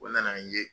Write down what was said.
O nana n ye